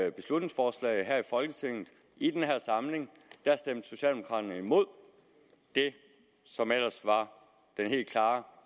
et beslutningsforslag her i folketinget i den her samling stemte socialdemokraterne imod det som ellers var den helt klare